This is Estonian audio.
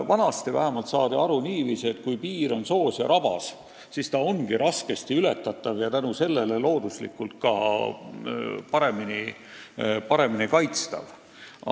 Vanasti saadi asjast aru niiviisi, et kui piir on soos ja rabas, siis see ongi raskesti ületatav ja tänu sellele ka paremini kaitstav.